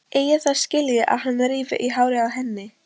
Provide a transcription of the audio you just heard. Eigi það skilið að hann rífi í hárið á henni.